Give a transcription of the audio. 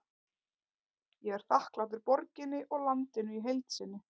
Ég er þakklátur borginni og landinu í heild sinni.